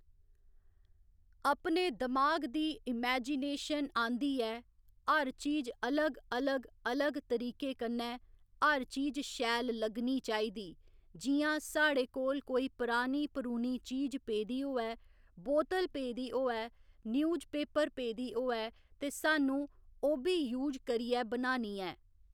अपने दिमाग दी इमैजीनेशन आंदी ऐ हर चीज अलग अलग अलग तरीके कन्नै हर चीज शैल लग्गनी चाही दी जि'यां साढ़े कोल कोई परानी परूनी चीज पेदी होऐ बोतल पे दी होऐ न्यूज पेपर पेदी होऐ ते स्हानूं ओह्बी यूज करियै बनानी ऐ